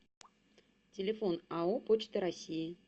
телефон ао почта россии